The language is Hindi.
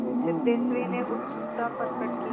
सिद्धेश्वरी ने उत्सुकता प्रकट की